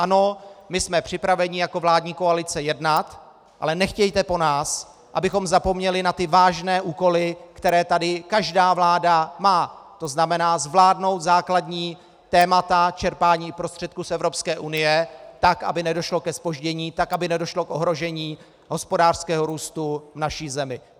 Ano, my jsme připraveni jako vládní koalice jednat, ale nechtějte po nás, abychom zapomněli na ty vážné úkoly, které tady každá vláda má, to znamená zvládnout základní témata čerpání prostředků z Evropské unie tak, aby nedošlo ke zpoždění, tak, aby nedošlo k ohrožení hospodářského růstu v naší zemi.